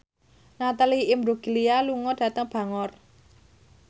Natalie Imbruglia lunga dhateng Bangor